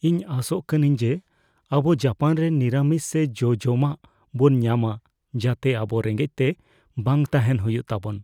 ᱤᱧ ᱟᱥᱚᱜ ᱠᱟᱱᱟᱧ ᱡᱮ ᱟᱵᱚ ᱡᱟᱯᱟᱱ ᱨᱮ ᱱᱤᱨᱟᱹᱢᱤᱥ ᱥᱮ ᱡᱚᱼᱡᱚᱢᱟᱜ ᱵᱚᱱ ᱧᱟᱢᱟ ᱡᱟᱛᱮ ᱟᱵᱚ ᱨᱮᱸᱜᱮᱡ ᱛᱮ ᱵᱟᱝ ᱛᱟᱦᱮᱱ ᱦᱩᱭᱩᱜ ᱛᱟᱵᱚᱱ ᱾